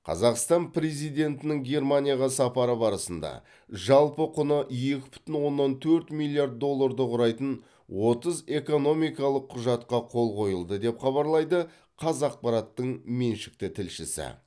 қазақстан президентінің германияға сапары барысында жалпы құны екі бүтін оннан төрт миллиард долларды құрайтын отыз экономикалық құжатқа қол қойылды деп хабарлайды қазақпараттың меншікті тілшісі